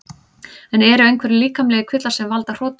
Eru einhverjir líkamlegir kvillar sem valda hrotum?